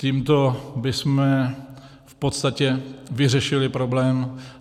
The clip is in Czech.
Tímto bychom v podstatě vyřešili problém.